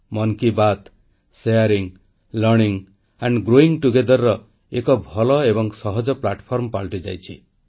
ମନ କି ବାତ୍ ବାଂଟିବା ଶିଖିବା ଓ ମିଳିତ ଭାବେ ବଢ଼ିବାର ଏକ ଭଲ ଏବଂ ସହଜ ମଞ୍ଚ ପାଲଟିଯାଇଛି